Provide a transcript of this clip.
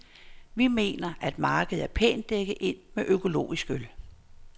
Vi mener, at markedet er pænt dækket ind med økologisk øl.